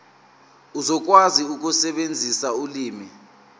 uzokwazi ukusebenzisa ulimi